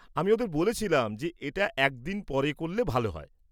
আমি ওঁদের বলেছিলাম যে এটা একদিন পর করলে ভাল হয়।